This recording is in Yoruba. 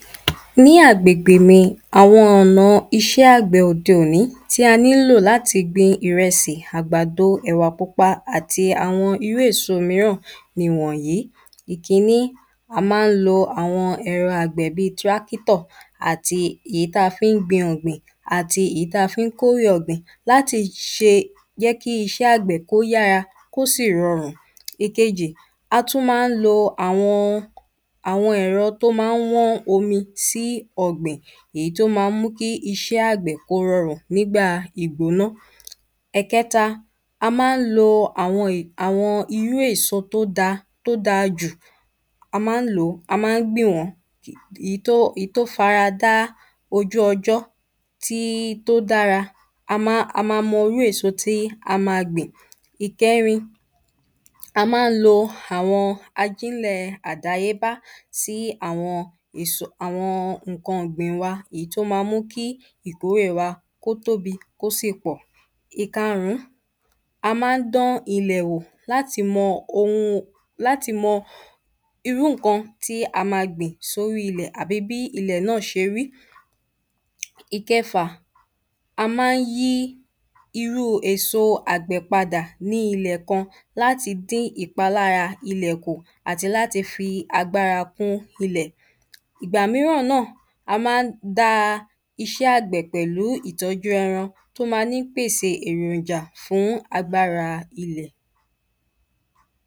Ní agbègbè mi Àwọn ọ̀nà iṣẹ́ àgbẹ̀ òde òní tí a nílò láti gbin ìrẹsì àgbàdo ẹ̀wà pupa àti àwọn irú èso míràn nìwọ̀nyí Ìkíní A ma ń lo àwọn ẹ̀rọ àgbẹ̀ bíi tractor àti ìyí tí a fi ń gbin ọ̀gbìn àti ìyí tí a fi ń kó èrè ọ̀gbìn láti fi ṣe jẹ́ kí iṣẹ́ àgbẹ̀ kí ó yára kí ó sì rọrùn Ìkejì A tún ma ń lo àwọn ẹro tí ó ma ń wán omi sí ọ̀gbìn Ìyí tí ó ma ń mú kí iṣẹ́ àgbè kí ó rọrùn nígbà ìgbóná Ẹ̀ẹ̀kẹta A ma ń lo àwọn irú èso tí ó dáa tí ó dáa jù A ma ń lò ó A ma ń gbìn wọ́n Ìyí tí ó fi ara dá ojú ọjọ́ tí ó dára A ma mọ irú èso tí a ma gbìn Ìkẹrin A ma ń lo àwọn ajínlẹ̀ àdáyébá sí àwọn nǹkan ọ̀gbìn wa Ìyí tí ó ma mú kí ìkórè wa kí ó tóbi kí ó sì pọ̀ Ìkarún A ma ń dán ilẹ̀ wò láti mọ irú nǹkan tí a ma gbìn sí ori ilẹ̀ tàbí bí ilẹ̀ náà ṣe rí Ìkẹfà A má ń yí irú èsò àgbè padà ní ilẹ̀ kan láti dí ìpalára ilẹ̀ kù àti láti fi agbára kún ilẹ̀ Ìgbà míràn náà a má ń da iṣẹ́ àgbẹ̀ pẹ̀lú ìtọ́jú ẹran tí ó ma ní pèsè èròjà fún agbára ilẹ̀